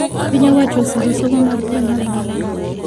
Pinyo owacho osiro somo mar primary manono